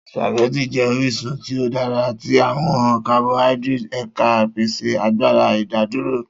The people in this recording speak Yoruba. Spaghetti jẹ orisun ti o dara ti awọn carbohydrates eka, pese agbara idaduro.